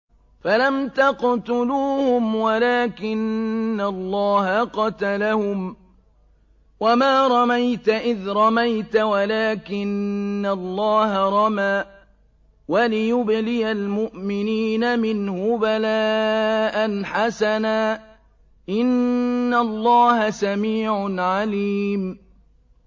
فَلَمْ تَقْتُلُوهُمْ وَلَٰكِنَّ اللَّهَ قَتَلَهُمْ ۚ وَمَا رَمَيْتَ إِذْ رَمَيْتَ وَلَٰكِنَّ اللَّهَ رَمَىٰ ۚ وَلِيُبْلِيَ الْمُؤْمِنِينَ مِنْهُ بَلَاءً حَسَنًا ۚ إِنَّ اللَّهَ سَمِيعٌ عَلِيمٌ